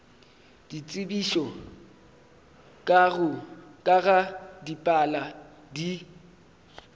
ditsebišo ka ga dipalo di